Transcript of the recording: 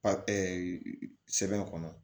Pa sɛbɛn kɔnɔ